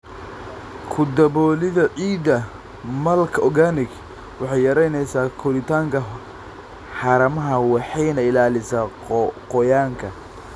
Ku daboolida ciidda mulch organic waxay yaraynaysaa koritaanka haramaha waxayna ilaalisaa qoyaanka.